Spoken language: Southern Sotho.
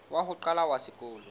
wa ho qala wa leloko